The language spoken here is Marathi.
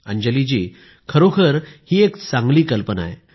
अंजली जी खरोखर ही एक चांगली कल्पना आहे